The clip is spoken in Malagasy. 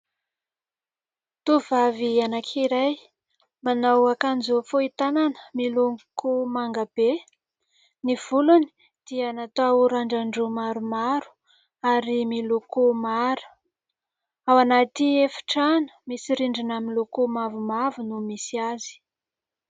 Tovovay anankiray manao akanjo fohy tanana miloko manga be. Ny volony dia natao randran-droa maromaro ary miloko mara. Ao anaty efi-trano misy rindrina mavomavo no misy azy.